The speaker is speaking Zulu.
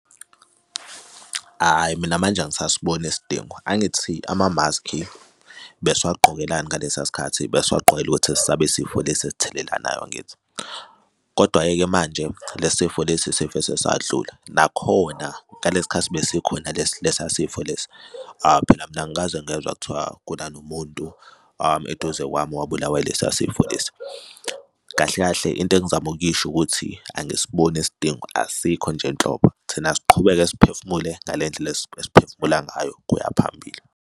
Hhayi, mina manje angisasiboni isidingo. Angithi ama-mask-i besiwagqokelani ngalesa sikhathi? Besiwagqokela ukuthi sabe isifo lesi esithelelanayo, angithi? Kodwa-ke ke manje lesi sifo lesi sivese sadlula. Nakhona ngalesi khathi besikhona lesi sifo lesi phela mina angikaze ngezwa kuthiwa kuna nomuntu eduze kwami owabulawa ilesa sifo lesi. Kahle kahle into engizama ukuyisho ukuthi angisiboni isidingo asikho nje nhlobo, thina asiqhubeke siphefumule ngale ndlela esephefumula ngayo kuya phambili.